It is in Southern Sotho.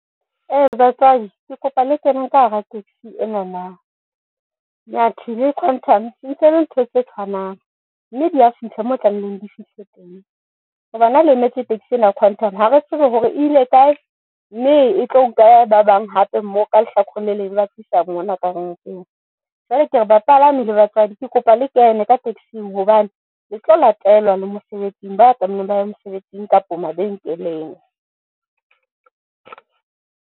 Batswadi ke kopa le keneng ka hara taxi ena na. Nyathi le Quantum entsele ntho tse tshwanang mme di ya fihla mo tlamehileng di fihle teng, hobana ha le emetse tekisi ena ya Quantum ha re tsebe hore ile kae mme e tlo nka ba bang hape mo ka lehlakoreng le leng eba tlisa mona ka renkeng. Jwale ke re bapala na le batswadi ke kopa le kene ka tekising hobane le tlo latelwa le mosebetsing ba tlameileng baye mesebetsing kapo mabenkeleng.